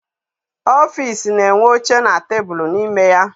Ọfịịsi na-enwe oche na tebulu n'ime ya.